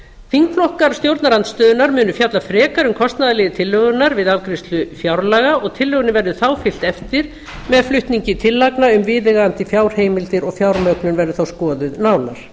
þingflokkar stjórnarandstöðunnar munu fjalla frekar um kostnaðarlið tillögunnar við afgreiðslu fjárlaga og tillögunni verður þá fylgt eftir með flutningi tillagna um viðeigandi fjárheimildir og fjármögnun verður þá skoðuð nánar